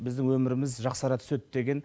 біздің өміріміз жақсара түседі деген